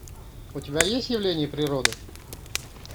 у тебя есть явление природы